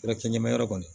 Kɛra cɛncɛnma yɔrɔ kɔni